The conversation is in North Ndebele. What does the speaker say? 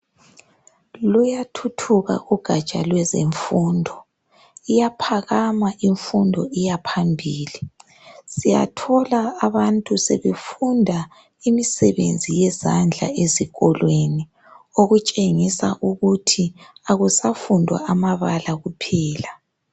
Luyathuthuka ugatsha lwezemfundo iyaphakama imfundo iyaphambili. Siyathola abantu sebefunda imisebenzi yezandla ezikolweni okutshengisa ukuthi akusafundwa amabala kuphela.